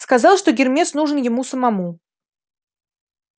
сказал что гермес нужен ему самому